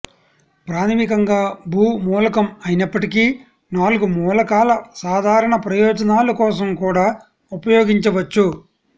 ప్రాథమికంగా భూ మూలకం అయినప్పటికీ నాలుగు మూలకాల సాధారణ ప్రయోజనాల కోసం కూడా ఉపయోగించవచ్చు